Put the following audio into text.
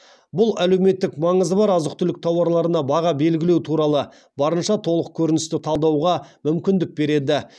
бұл әлеуметтік маңызы бар азық түлік тауарларына баға белгілеу туралы барынша толық көріністі талдауға мүмкіндік береді